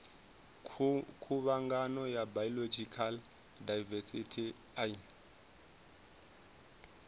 khuvhangano ya biological daivesithi ine